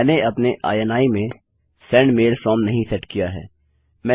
मैंने अपने इनी में सेंड मैल फ्रॉम नहीं सेट किया है